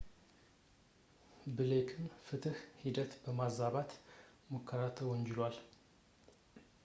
ብሌክም የፍትሕ ሂደትን በማዛባት ሙከራ ተወንጅሏል